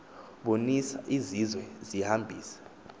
bonis izizwe zihambis